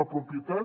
la propietat